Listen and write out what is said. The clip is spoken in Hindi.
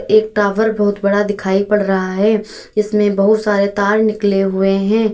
एक टॉवर बहुत बड़ा दिखाई पड़ रहा है जिसमें बहुत सारे तार निकले हुए है।